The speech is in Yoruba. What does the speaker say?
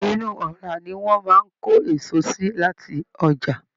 Inú ọra ní wọn máa n ko èso sí láti ọjà.